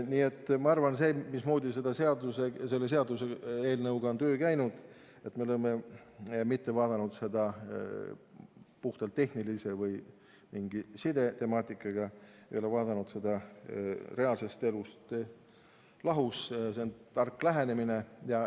Nii et ma arvan, et see, mismoodi selle seaduseelnõuga on töö käinud – me ei ole vaadanud seda puhtalt tehnilise või mingi sidetemaatikana, me ei ole vaadanud seda reaalsest elust lahus –, on tark lähenemine.